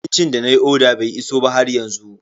Abincin da nayi oda bai iso ba haryanzu.